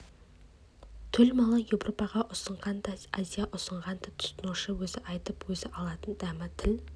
төл малы еуропаға ұсынсаң да азияға ұсынсаң да тұтынушы өзі айтып өзі алатын дәмі тіл